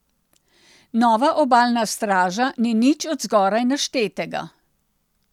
Nova obalna straža ni nič od zgoraj naštetega.